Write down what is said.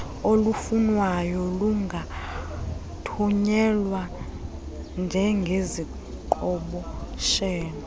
olufunwayo lungathunyelwa njengeziqhoboshelo